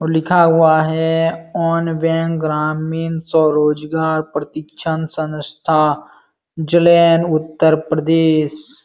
लिखा हुआ है ऑन बैंक ग्रामीण रोजगार सनस्था जलयन उतर प्रदेश --